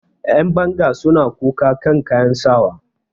Yanbanga sun koka kan kayan sawa.